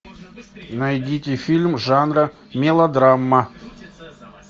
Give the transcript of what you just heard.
найдите фильм жанра мелодрама